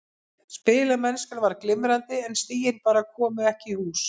Spilamennskan var glimrandi en stigin bara komu ekki í hús.